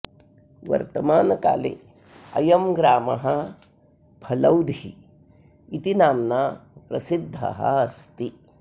वर्तमानकाले अयं ग्रामः फलौधी इति नाम्ना प्रसिद्धः अस्ति